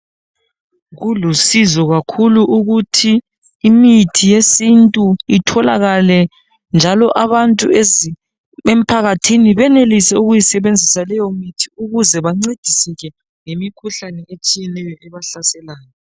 Kulusizo kakhulu ukuthi imithi yesintu itholakale, njalo abantu emphakathini benelise ukuyisebenzisa leyomithi ukuze bancediseke ngemikhuhlane etshiyeneyo ebahlaselayo.